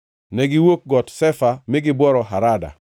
Negiwuok Got Shefa mi gibworo Harada.